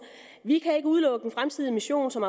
vi kan ikke udelukke en fremtidig mission som